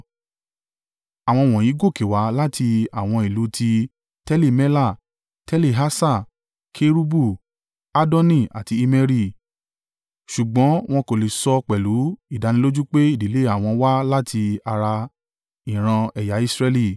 Àwọn wọ̀nyí gòkè wá láti àwọn ìlú ti Teli-Mela, Teli-Harṣa, Kerubu, Addoni àti Immeri, ṣùgbọ́n wọn kò lè sọ pẹ̀lú ìdánilójú pé ìdílé àwọn wá láti ara ìran ẹ̀yà Israẹli.